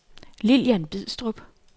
Lillian Bidstrup